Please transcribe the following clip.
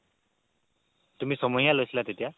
তুমি ছমহীয়া লৈছিলা তেতিয়া